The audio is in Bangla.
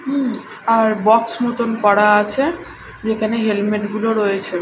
উম আর বক্স মতোন করা আছে যেখানে হেলমেট -গুলো রয়েছে।